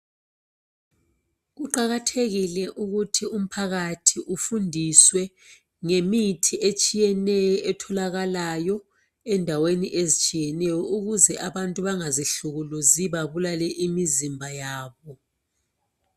Kuqakathekile ukuthi umphakathi ufundiswe ngemithi etshiyeneyo etholakalayo endaweni ezitshiyeneyo ukuze abantu bangazihlukuluzi babulale imizimba yabo.